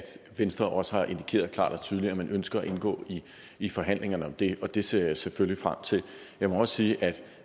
venstre også har indikeret klart og tydeligt at man ønsker at indgå i forhandlingerne om det og det ser jeg selvfølgelig frem til jeg må også sige at